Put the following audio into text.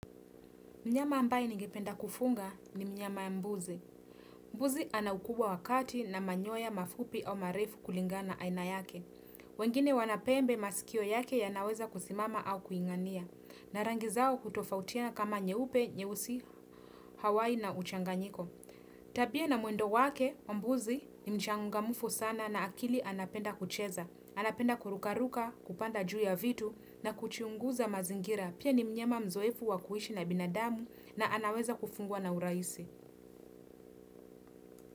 Mnyama ambaye ningpenda kufunga ni mnyama ya mbuzi. Mbuzi anaukubwa wakati na manyoya mafupi au marefu kulingana aina yake. Wengine wanapembe masikio yake ya naweza kusimama au kuingania. Narangizao kutofautiana kama nyeupe, nyeusi, Hawaii na uchanganyiko. Tabia na mulwendo wake, mbuzi ni mchangamufu sana na akili anapenda kucheza. Anapenda kurukaruka, kupanda juu ya vitu na kuchunguza mazingira. Pia ni mnyama mzoefu wakuishi na binadamu na anaweza kufungua na urahisi.